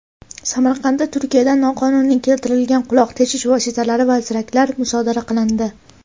Samarqandda Turkiyadan noqonuniy keltirilgan quloq teshish vositalari va ziraklar musodara qilindi.